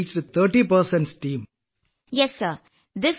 ഇത്രയും ചുരുങ്ങിയ സമയത്തിനുള്ളിൽ നിങ്ങളുടെ ടീം 30 പേരിലെത്തി